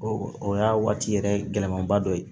Ɔ o y'a waati yɛrɛ gɛlɛmanba dɔ ye